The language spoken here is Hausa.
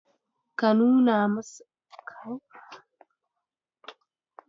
Ka nuna masa mayafin?